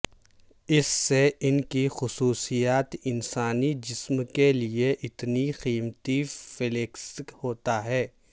اس سے ان کی خصوصیات انسانی جسم کے لئے اتنی قیمتی فلیکس ہوتا ہے